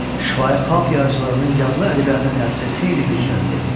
Şifahi xalq yaradıcılığının yazılı ədəbiyyata təsiri xeyli gücləndi.